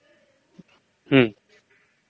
हं